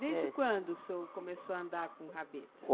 Desde quando o senhor começou a andar com rabeta?